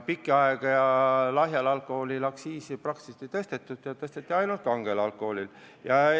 Pikka aega lahja alkoholi aktsiisi praktiliselt ei tõstetud, tõsteti ainult kangel alkoholil.